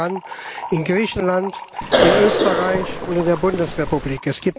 Allen voran in Griechenland, in Österreich und in der Bundesrepublik.